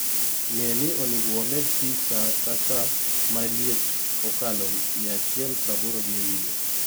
nge ni oningo wamed pii saa ka saa ma liet okalo mia achiel praboro gi ewie